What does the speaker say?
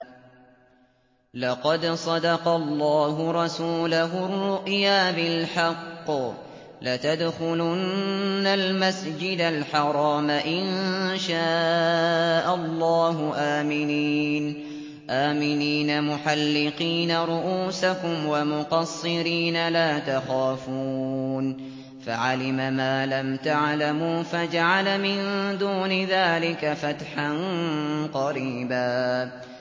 لَّقَدْ صَدَقَ اللَّهُ رَسُولَهُ الرُّؤْيَا بِالْحَقِّ ۖ لَتَدْخُلُنَّ الْمَسْجِدَ الْحَرَامَ إِن شَاءَ اللَّهُ آمِنِينَ مُحَلِّقِينَ رُءُوسَكُمْ وَمُقَصِّرِينَ لَا تَخَافُونَ ۖ فَعَلِمَ مَا لَمْ تَعْلَمُوا فَجَعَلَ مِن دُونِ ذَٰلِكَ فَتْحًا قَرِيبًا